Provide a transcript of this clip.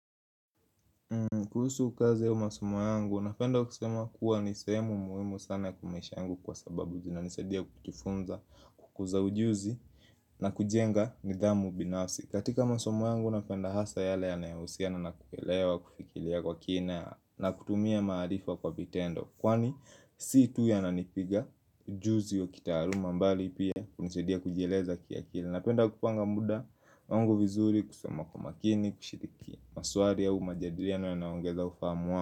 Kuhusu ukaze ya masomo yangu, napenda kusema kuwa ni sehemu muhimu sana kumaisha yangu kwasababu zinanisadia kutufunza kukuza ujuzi na kujenga nidhamu binafsi. Katika masomo yangu napenda hasa yale anayahusiana na nakuelewa kufikilia kwa kina na kutumia maarifa kwa vitendo. Kwani si tu yananipiga ujuzi ya kitaaluma mbali pia kunisaidia kujieleza kiakili Napenda kupanga muda, wangu vizuri, kusoma kwa makini, kushiriki maswali au majadiliano yanayoongeza ufahamu wangu.